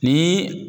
Ni